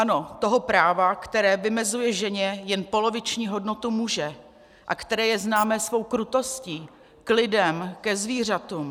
Ano, toho práva, které vymezuje ženě jen poloviční hodnotu muže a které je známé svou krutostí k lidem, ke zvířatům.